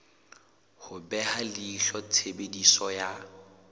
ho beha leihlo tshebediso ya